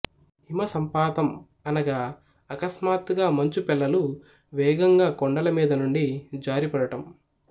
హిమ సంపాతం అనగా అకస్మాత్తుగా మంచు పెళ్ళలు వేగంగా కొండల మీద నుండి జారిపడడం